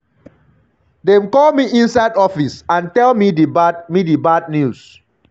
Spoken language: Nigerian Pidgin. dem call me inside office and tell me di bad me di bad news.